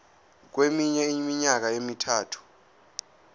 kweminye iminyaka emithathu